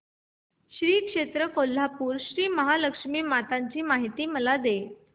श्री क्षेत्र कोल्हापूर श्रीमहालक्ष्मी माता ची मला माहिती दे